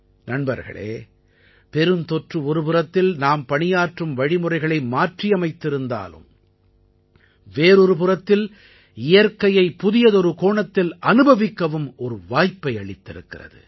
நண்பர்களே பெருந்தொற்று ஒரு புறத்தில் நாம் பணியாற்றும் வழிமுறைகளை மாற்றியமைத்திருந்தாலும் வேறொரு புறத்தில் இயற்கையை புதியதொரு கோணத்தில் அனுபவிக்கவும் ஒரு வாய்ப்பை அளித்திருக்கிறது